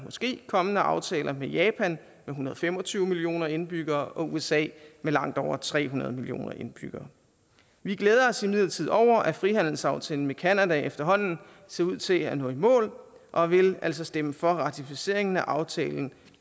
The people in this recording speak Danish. måske kommende aftaler med japan med en hundrede og fem og tyve millioner indbyggere og usa med langt over tre hundrede millioner indbyggere vi glæder os imidlertid over at frihandelsaftalen med canada efterhånden ser ud til at nå i mål og vi vil altså stemme for ratificeringen af aftalen